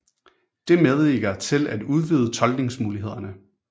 Det medvirker til at udvide tolkningsmulighederne